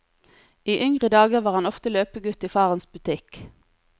I yngre dager var han ofte løpegutt i farens butikk.